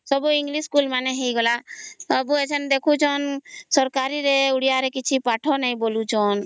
ହଁ ସବୁ english ହେଇଗଲା ସବୁ ଆସନ ଦେଖୁ ଛନ ସରକାରୀ ରେ ଓଡ଼ିଆ ରେ କିଛି ପାଠ ନାହିଁ ବୋଲୁ ଛନ